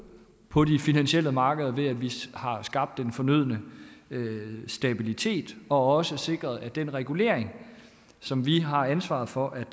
på de finansielle markeder ved at vi har skabt den fornødne stabilitet og også sikre at den regulering som vi har ansvaret for er